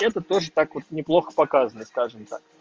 это тоже так вот неплохо показывает скажем так